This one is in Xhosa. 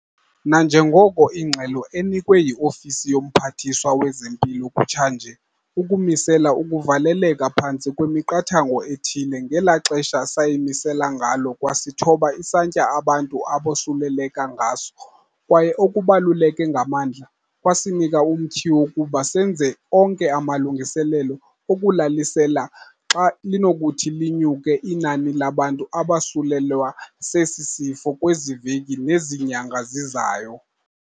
Nanjengoko ingxelo enikwe yi-Ofisi yoMphathiswa wezeMpilo kutsha nje, ukumisela ukuvaleleka phantsi kwemiqathango ethile ngela xesha sayimisela ngalo kwasithoba isantya abantu abosuleleka ngaso, kwaye okubaluleke ngamandla, kwasinika umtyhi wokuba senze onke amalungiselelo okulalelisela xa linokuthi linyuke inani labantu abasulelwa sesi sifo kwezi veki nezi nyanga zizayo.